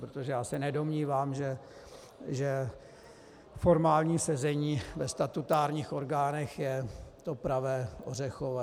Protože já se nedomnívám, že formální sezení ve statutárních orgánech je to pravé ořechové.